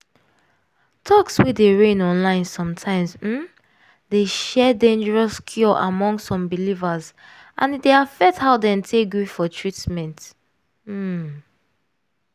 talks wey dey reign online sometimes um dey share dangerous cure among some believers and e dey affect how dem take gree for treatment. um